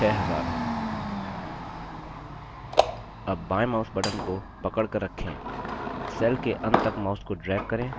अब बायें mouse button को पकड़कर रखें cell के अंत तक mouse को drag करें जिसमें लागत entry 2000 है